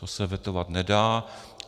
To se vetovat nedá.